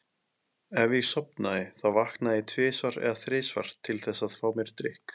Ef ég sofnaði þá vaknaði ég tvisvar eða þrisvar til þess að fá mér drykk.